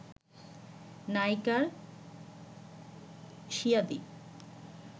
নায়িকার স্বীয়াদি